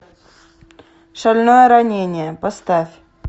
шальное ранение поставь